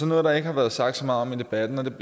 noget der ikke har været sagt så meget om i debatten og jeg